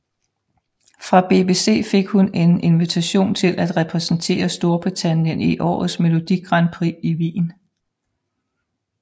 Fra BBC fik hun en invitation til at repræsentere Storbritannien i årets Melodigrandprix in Wien